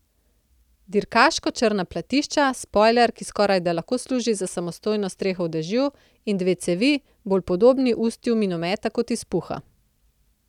Dirkaško črna platišča, spojler, ki skorajda lahko služi za samostojno streho v dežju, in dve cevi, bolj podobni ustju minometa kot izpuha.